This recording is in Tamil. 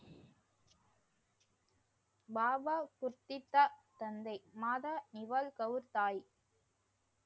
பாபா குர்திதா தந்தை மாதா இவள்கவூர்தாய்.